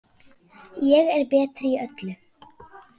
Ég er betri í öllu.